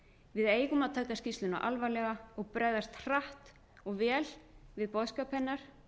við eigum að taka skýrsluna alvarlega og bregðast hratt og vel við boðskap hennar